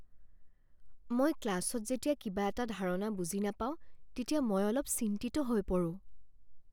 মই ক্লাছত যেতিয়া কিবা এটা ধাৰণা বুজি নাপাও তেতিয়া মই অলপ চিন্তিত হৈ পৰোঁ।